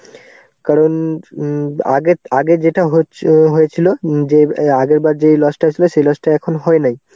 কারণ উম আগের আগে যেটা হচ্ছে~ হয়েছিল যে আগের বার যেই loss টা ছিল সেই loss টা এখন হয় নাই.